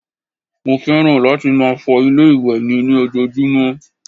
Mo fẹ́ràn láti máa fọ ilé-ìwẹ̀ mi ní ojoojúmọ́